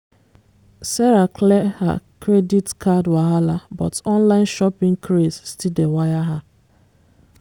sarah clear her credit card wahala but online shopping craze still dey wire her.